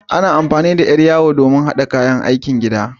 Ana amfani da yar yawo don haɗa kayan aikin gida.